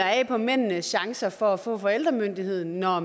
af på mændenes chance for at få forældremyndigheden når